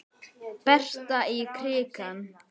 Berta í krikann?